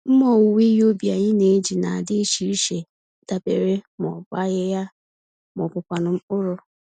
Mmá owuwe ihe ubi anyị n'eji na adị iche iche, dabere ma ọ bụ ahịhịa ma ọbụkwanụ mkpụrụ.